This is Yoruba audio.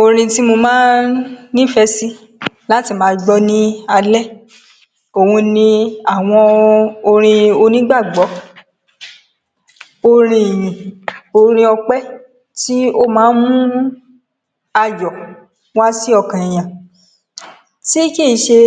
Orin tí mo máa ń nífẹ̀ sí láti máa gbọ́ ní alẹ́, òhun ni àwọn orin onígbàgbọ́, orin ìyìn, orin ọpẹ, tí ó máa ń mú ayọ̀ wá sí ọkàn èèyàn, tí kì í ṣe